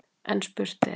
En spurt er: